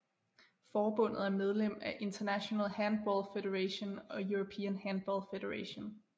Forbundet er medlem af International Handball Federationog European Handball Federation